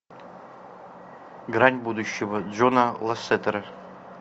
грань будущего джона лассетера